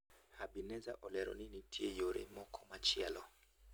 Habineza olero ni nitie yore moko machielo.